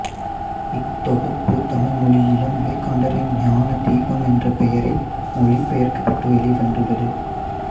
இத்தொகுப்பு தமிழ் மொழியிலும் விவேகானந்தரின் ஞான தீபம் என்ற பெயரில் மொழிபெயர்க்கப்பட்டு வெளிவந்துள்ளது